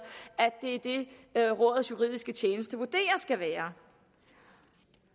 at rådets juridiske tjeneste vurderer skal være